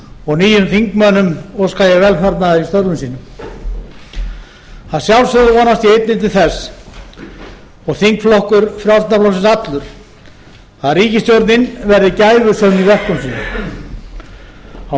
og nýjum þingmönnum óska ég velfarnaðar í störfum sínum að sjálfsögðu vonast ég einnig til þess og þingflokkur frjálslynda flokksins allur að ríkisstjórnin verði gæfusöm í verkum sínum á